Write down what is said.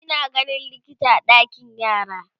Ina ganin likita a ɗakin yara